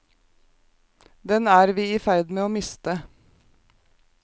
Den er vi i ferd med å miste.